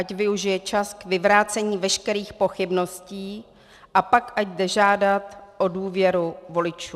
Ať využije čas k vyvrácení veškerých pochybností a pak ať jde žádat o důvěru voličů.